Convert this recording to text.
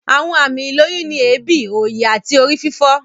Àwọn àmì ìlóyún ni èébì, òòyì, àti orí fífọ́